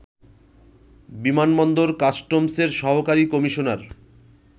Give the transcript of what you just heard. বিমানবন্দর কাস্টমসের সহকারী কমিশনার